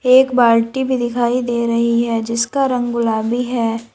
एक बाल्टी भी दिखाई दे रही है जिसका रंग गुलाबी है।